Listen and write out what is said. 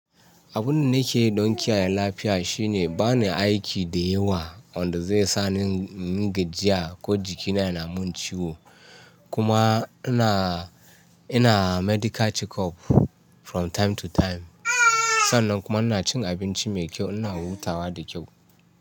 Abin da nake yi don kiyaye lafiya shine bani aiki da yawa wanda zai sa ni in yi gajiya ko jikina yana mun ciwo. Kuma ina, ina medical checkup from time to time. Sannan kuma ina cin abinci mai kyau, ina hutawa da kyau.